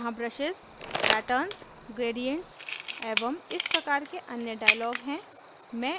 यहाँ brushes patterns gradient एवं इस प्रकार के अन्य dialogs हैं